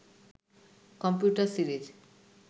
computer series